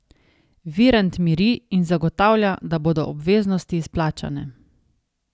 Virant miri in zagotavlja, da bodo obveznosti izplačane.